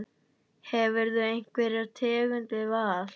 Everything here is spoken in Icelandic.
Hefurðu einhverja tengingu við Val?